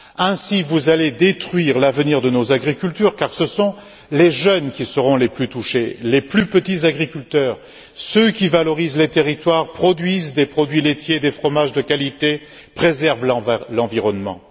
Ainsi, vous allez détruire l'avenir de nos agriculteurs car ce sont les jeunes qui seront les plus touchés, les plus petits agriculteurs, ceux qui valorisent les territoires, produisent des produits laitiers, des fromages de qualité, et préservent l'environnement.